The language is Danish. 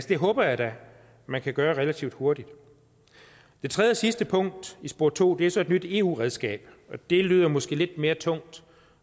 det håber jeg da man kan gøre relativt hurtigt det tredje og sidste punkt i spor to er så et nyt eu redskab og det lyder måske lidt mere tungt